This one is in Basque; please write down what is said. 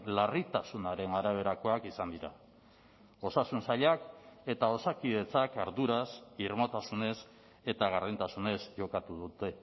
larritasunaren araberakoak izan dira osasun sailak eta osakidetzak arduraz irmotasunez eta gardentasunez jokatu dute